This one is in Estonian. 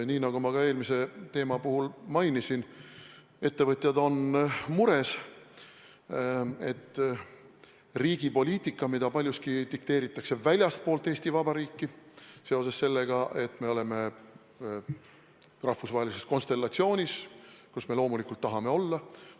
Nii nagu ma ka eelmise teema puhul mainisin, ettevõtjad on mures, et riigi poliitika, mida paljuski dikteeritakse väljastpoolt Eesti Vabariiki seoses sellega, et me oleme rahvusvahelises konstellatsioonis, kus me loomulikult tahame olla.